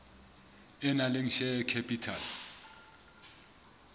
e nang le share capital